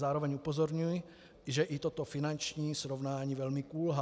Zároveň upozorňuji, že i toto finanční srovnání velmi kulhá.